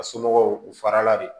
A somɔgɔw u farala de